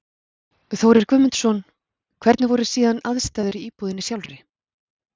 Þórir Guðmundsson: Hvernig voru síðan aðstæður í íbúðinni sjálfri?